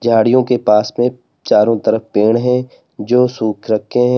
झाड़ियो के पास में चारों तरफ पेड़ है जो सुख रखे हैं।